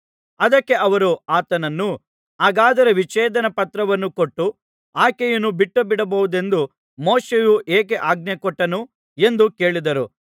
ಅದಕ್ಕೆ ಅವರು ಆತನನ್ನು ಹಾಗಾದರೆ ವಿಚ್ಛೇದನ ಪತ್ರವನ್ನು ಕೊಟ್ಟು ಆಕೆಯನ್ನು ಬಿಟ್ಟುಬಿಡಬಹುದೆಂದು ಮೋಶೆಯು ಏಕೆ ಆಜ್ಞೆ ಕೊಟ್ಟನು ಎಂದು ಕೇಳಿದರು